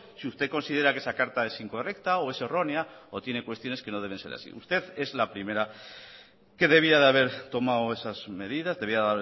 si usted considera que esa carta es incorrecta o es errónea o tiene cuestiones que no deben ser así usted es la primera que debía de haber tomado esas medidas debía